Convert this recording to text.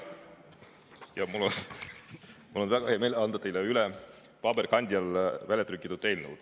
Mul on väga hea meel anda teile üle paberkandjal väljatrükitud eelnõu.